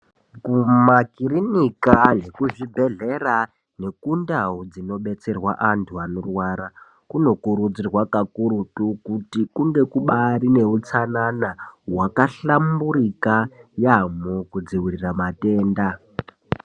Kumakirinika nekuzvibhedhlera nekundau dzinobetserwa antu anorwara kunokurudzirwa kakurutu kuti kunge kubari neutsanana wakahlamburika yaambo kudzivirira matenda.